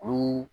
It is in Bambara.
Olu